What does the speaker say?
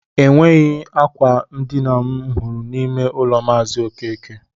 Enweghị akwa ndina m hụrụ n'ime ụlọ maazi okeke